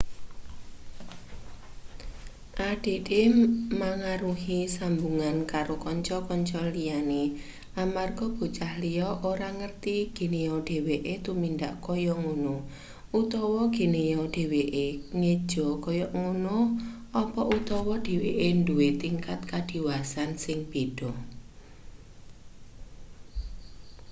add mangaruhi sambungan karo kanca-kanca liyane amarga bocah liya ora ngerti geneya dheweke tumindak kaya ngono utawa geneya dheweke ngeja kaya ngono apa utawa dheweke duwe tingkat kadiwasan sing beda